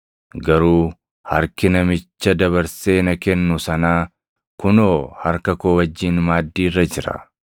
Garuu harki namicha dabarsee na kennu sanaa kunoo harka koo wajjin maaddii irra jira.